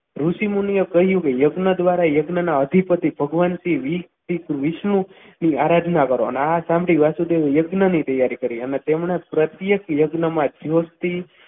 ઋષિમુનિઓએ કહ્યું કે યજ્ઞ દ્વારા યજ્ઞના અધિપતિ ભગવાન શ્રી વિષ્ણુની આરાધના કરો અને આ સાંભળીને વાસુદેવી વૈજ્ઞાનિક તૈયારી કરી અને તેમણે પ્રત્યેક યજ્ઞમાં સ્વસ્તિક